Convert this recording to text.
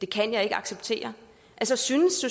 kan jeg ikke acceptere altså synes